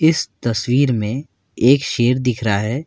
इस तस्वीर में एक शेर दिख रहा है।